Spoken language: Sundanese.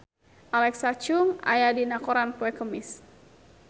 Alexa Chung aya dina koran poe Kemis